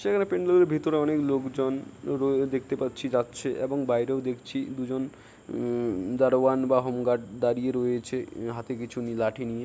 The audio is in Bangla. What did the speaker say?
সেখানে প্যান্ডেল এর ভিতরে অনেক লোকজন রয়ে দেখতে পাচ্ছি যাচ্ছে এবং বাইরেও দেখছি দুজন উম দারোয়ান বা হোম গার্ড দাঁড়িয়ে রয়েছে হাতে কিছু নি--লাঠি নিয়ে।